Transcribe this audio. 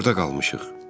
Biz burda qalmışıq.